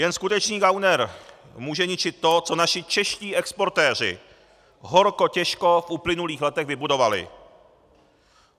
Jen skutečný gauner může ničit to, co naši čeští exportéři horko těžko v uplynulých letech vybudovali.